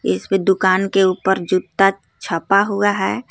इसपे दुकान के ऊपर जुत्ता छापा हुआ हे.